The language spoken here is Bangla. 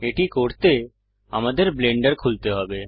এটি করতে আমাদের ব্লেন্ডার খুলতে হবে